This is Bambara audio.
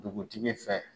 Dugutigi fɛ